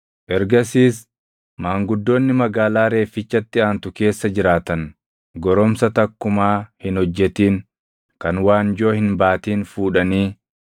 Ergasiis maanguddoonni magaalaa reeffichatti aantu keessa jiraatan goromsa takkumaa hin hojjetin kan waanjoo hin baatin fuudhanii